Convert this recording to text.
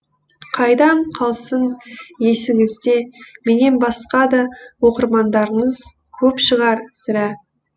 қайдан қалсын есіңізде менен басқа да оқырмандарыңыз көп шығар сірә